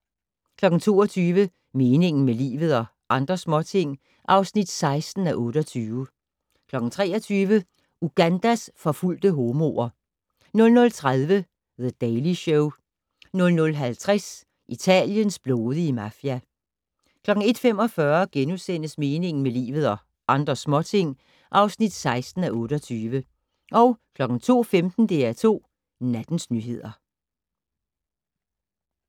22:00: Meningen med livet - og andre småting (16:28) 23:00: Ugandas forfulgte homoer 00:30: The Daily Show 00:50: Italiens blodige mafia 01:45: Meningen med livet - og andre småting (16:28)* 02:15: DR2 Nattens nyheder